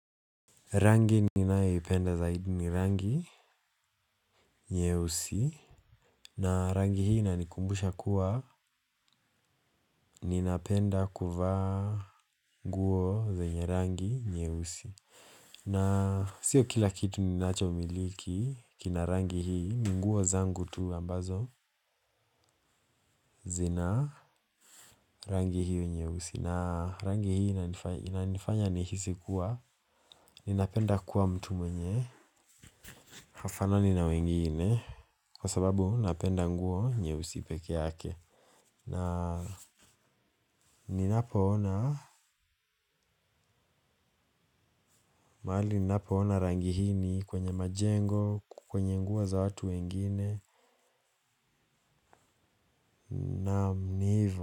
Rangi ninayoipenda zaidi ni rangi nyeusi na rangi hii inanikumbusha kuwa ninapenda kuvaa nguo zenye rangi nyeusi na sio kila kitu ninachomiliki kina rangi hii ni nguo zangu tu ambazo zina rangi hii nyeusi na rangi hii inanifanya nihisi kuwa ninapenda kuwa mtu mwenye hafanani na wengine kwa sababu napenda nguo nyeusi peke yake na ninapoona mahali ninapoona rangi hii ni kwenye majengo kwenye nguo za watu wengine naam ni ivo.